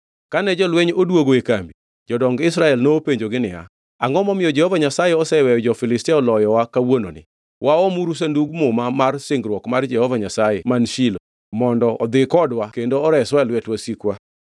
Kane jolweny odwogo e kambi, jodong Israel nopenjogi niya, “Angʼo momiyo Jehova Nyasaye oseweyo jo-Filistia oloyowa kawuononi? Waomuru Sandug Muma mar Singruok mar Jehova Nyasaye man Shilo, mondo odhi kodwa kendo oreswa e lwet wasikwa.”